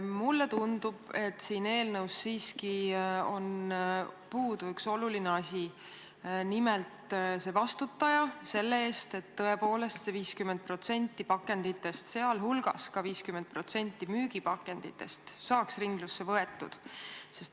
Mulle tundub, et siin eelnõus on puudu üks oluline asi: nimelt vastutaja selle eest, et tõepoolest 50% pakenditest, sh ka 50% müügipakenditest saaks ringlusse võetud.